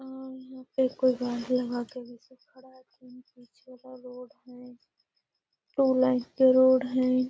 और यहां पे कोई गाड़ी लगा के वैसे खड़ा है टू लाइन के रोड हेय।